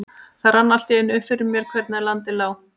Það rann allt í einu upp fyrir mér hvernig landið lá.